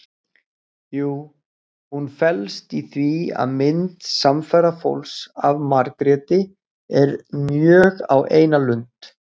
Jú, hún felst í því að mynd samferðafólks af Margréti er mjög á eina lund.